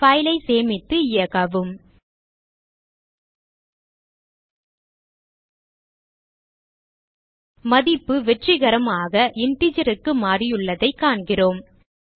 file ஐ சேமித்து இயக்கவும் மதிப்பு வெற்றிகரமாக integer க்கு மாறியுள்ளதைக் காண்கிறோம்